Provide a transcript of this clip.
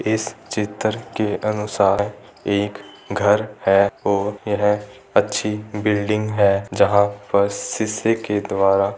इस चित्र के अनुसार एक घर है और यह अच्छी बिल्डिंग है जहाँ पर के द्वारा --